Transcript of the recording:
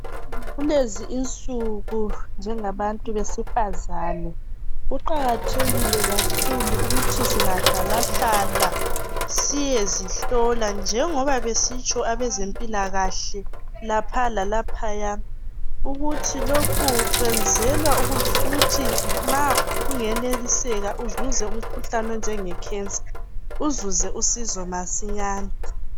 kulezi insuku njengabantu besifazana kuqakathekile kakhulu ukuthi singahlalahlala siyezihlola njengoba besitsho abezempilakahle lapha lalaphaya ukuthi lokhu kwenzelwa ukuthi nxa kungeneliseka uzuze umkhuhlane onjenge cancer uzuze usizo masinyane